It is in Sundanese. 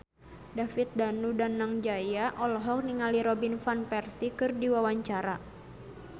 David Danu Danangjaya olohok ningali Robin Van Persie keur diwawancara